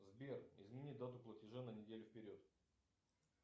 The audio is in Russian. сбер измени дату платежа на неделю вперед